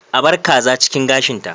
A bar ƙaza cikin gashin ta.